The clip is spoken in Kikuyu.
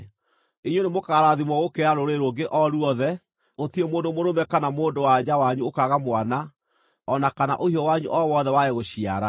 Inyuĩ nĩmũkarathimwo gũkĩra rũrĩrĩ rũngĩ o ruothe; gũtirĩ mũndũ mũrũme kana mũndũ-wa-nja wanyu ũkaaga mwana, o na kana ũhiũ wanyu o wothe wage gũciara.